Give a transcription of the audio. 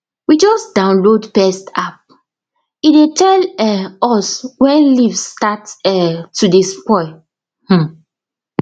we just download pest appe dey tell um us when leaves start um to dey spoil um